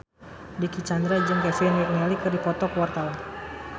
Dicky Chandra jeung Kevin McNally keur dipoto ku wartawan